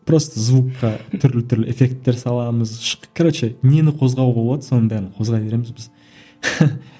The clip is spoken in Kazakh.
просто звукқа түрлі түрлі эффекттер саламыз короче нені қозғауға болады соның бәрін қозғай береміз біз